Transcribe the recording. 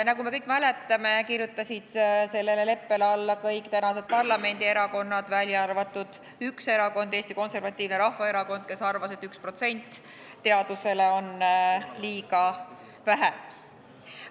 Nagu me kõik mäletame, kirjutasid sellele leppele alla kõik tänased parlamendierakonnad, välja arvatud üks erakond, Eesti Konservatiivne Rahvaerakond, kes arvas, et 1% on teadusele liiga vähe.